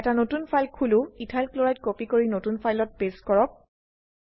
এটা নতুন ফাইল খুলো ইথাইল ক্লোৰাইড কপি কৰি নতুন ফাইলত পেস্ট কৰক